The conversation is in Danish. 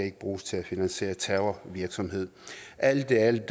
ikke bruges til at finansiere terrorvirksomhed alt i alt